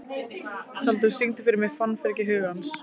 Tjaldur, syngdu fyrir mig „Fannfergi hugans“.